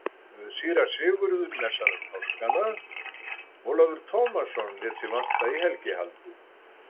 Síra Sigurður messaði um páskana, Ólafur Tómasson lét sig vanta í helgihaldið.